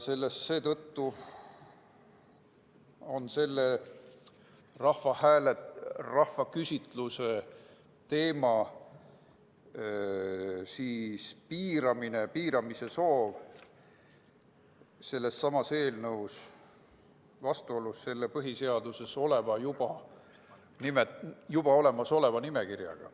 Seetõttu on selles eelnõus sisalduv rahvaküsitluse teema piiramise soov vastuolus põhiseaduses juba olemas oleva nimekirjaga.